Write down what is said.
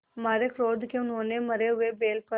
मारे क्रोध के उन्होंने मरे हुए बैल पर